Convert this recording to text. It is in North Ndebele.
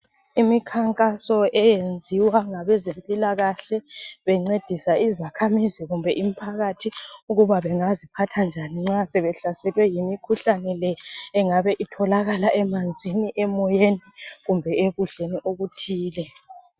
Imikhankaso eyenziwa ngabezempilakahle ukungcedisa izakhamisi kumbe abomphakathi ukuthi bengaziphatha njani nxa sebehlaselwe yimikhuhlane le engabe itholakala emanzini emoyeni kumbe ekudleni okuthile